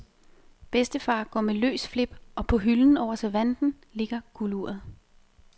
Bedstefar går med løs flip og på hylden over servanten ligger gulduret.